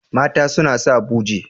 Mata suna sa buje.